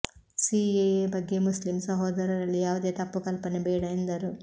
CAA ಬಗ್ಗೆ Muslim ಸಹೋದರರಲ್ಲಿ ಯಾವುದೇ ತಪ್ಪು ಕಲ್ಪನೆ ಬೇಡ ಎಂದರು